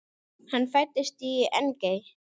Hann fæddist í Engey.